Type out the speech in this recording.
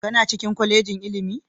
Kana cikin kwalejin ilimi?